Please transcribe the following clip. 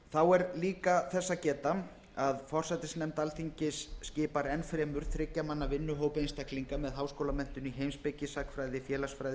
þá er líka þess að geta að forsætisnefnd skipar enn fremur þriggja manna vinnuhóp einstaklinga með háskólamenntun í heimspeki sagnfræði félagsfræði